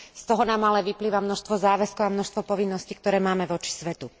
Z toho nám ale vyplýva množstvo záväzkov a množstvo povinností, ktoré máme voči svetu.